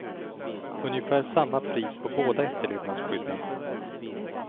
Ungefär samma pris på båda efterlevandeskydden.